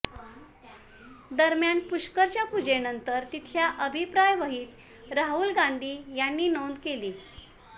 दरम्यान पुष्करच्या पूजेनंतर तिथल्या अभिप्राय वहीत राहुल गांधी यांनी नोंद केली